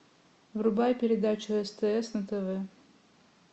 врубай передачу стс на тв